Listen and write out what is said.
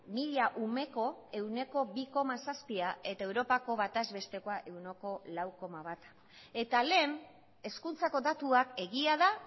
mila umeko ehuneko bi koma zazpia eta europako bataz bestekoa ehuneko lau koma bat eta lehen hezkuntzako datuak egia da